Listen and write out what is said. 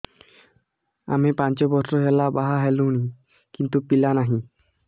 ଆମେ ପାଞ୍ଚ ବର୍ଷ ହେଲା ବାହା ହେଲୁଣି କିନ୍ତୁ ପିଲା ନାହିଁ